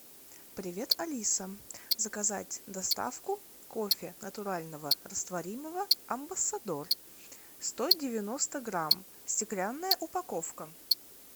привет алиса заказать доставку кофе натурального растворимого амбассадор сто девяносто грамм стеклянная упаковка